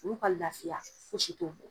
N'u ka lafiya, fosi t'o bɔ.